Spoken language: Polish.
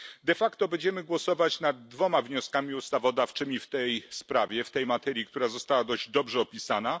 De facto będziemy głosować nad dwoma wnioskami ustawodawczymi w tej sprawie, w tej materii, która została dość dobrze opisana.